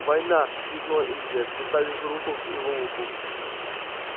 война крикнула индия приставив руку к его уху